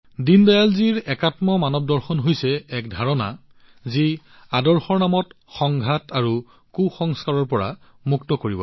দীনদয়ালজীৰ integral human philosophy হৈছে এক ধাৰণা যি আদৰ্শৰ দ্বাৰা সংঘাত আৰু কুসংস্কাৰৰ পৰা মুক্ত হয়